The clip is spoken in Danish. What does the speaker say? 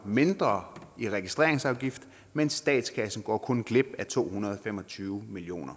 mindre i registreringsafgift men statskassen går kun glip af to hundrede og fem og tyve million